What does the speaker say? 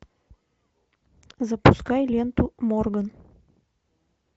запускай ленту морган